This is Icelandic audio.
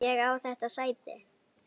Ég á þetta sæti!